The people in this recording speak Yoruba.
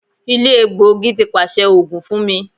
Ile elegbogi ti paṣẹ oogun fun mi